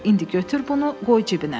İndi götür bunu, qoy cibinə.